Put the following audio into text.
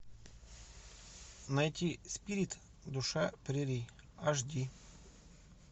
найти спирит душа прерий аш ди